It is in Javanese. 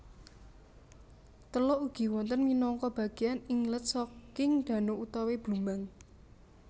Teluk ugi wonten minangka bageyan inlet saking dano utawi blumbang